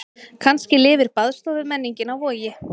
Kannski lifir baðstofumenningin á Vogi.